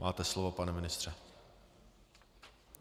Máte slovo, pane ministře.